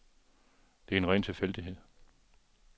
Det er en ren tilfældighed.